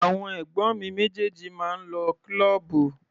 Àwọn ẹ̀gbọ́n mi méjèèjì máa ń lọ kílọ́ọ̀bù.